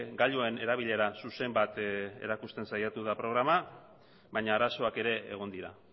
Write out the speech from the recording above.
gailuen erabilera zuzen bat erakusten saiatu da programa baina arazoak ere egon dira